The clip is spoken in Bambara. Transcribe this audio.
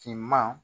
Finman